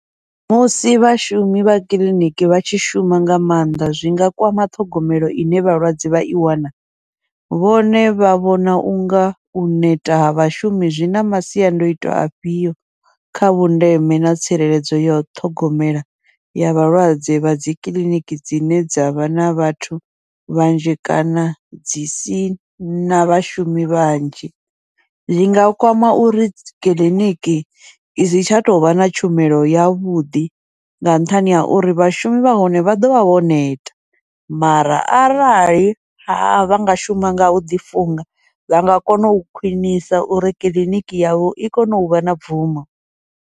Musi vhashumi vha kiḽiniki vha tshi shuma nga maanḓa, zwi nga kwama ṱhogomelo ine vhalwadze vha i wana, vhone vha vhona unga u neta ha vhashumi zwi na masiandoitwa afhio kha vhundeme na tsireledzo ya ṱhogomelo ya vhalwadze kha dzikiḽiniki dzine dza vha na vhathu vhanzhi kana dzi sina vhashumi vhanzhi, zwi nga kwama uri kiḽiniki isi tsha tovha na tshumelo yavhuḓi, nga nṱhani ha uri vhashumi vha hone vha ḓovha vho neta. Mara arali vhanga shuma ngau ḓi funga vha nga kona u khwiṋisa uri kiḽiniki yavho I kone uvha na bvumo.